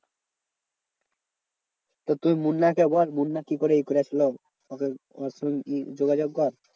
তো তুই মুন্না কে বল মুন্না কি করে ই করেছিল? ওকে তুই গিয়ে যোগাযোগ কর।